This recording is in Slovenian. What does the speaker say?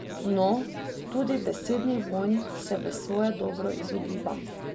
No, tudi besednih vojn se v svoje dobro izogibam.